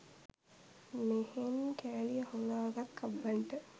මෙහෙන් කෑලි අහුලා ගත් කබ්බන්ට